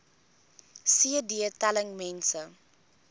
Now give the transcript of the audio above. cd telling mense